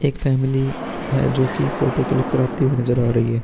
एक फैमिली है जो कि फोटो क्लिक कराती हुई नजर आ रही है।